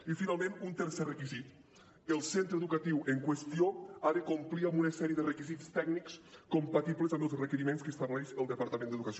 i finalment un tercer requisit el centre educatiu en qüestió ha de complir amb una sèrie de requisits tècnics compatibles amb els requeriments que estableix el departament d’educació